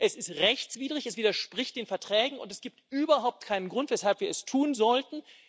Es ist rechtswidrig, es widerspricht den Verträgen, und es gibt überhaupt keinen Grund, weshalb wir es tun sollten.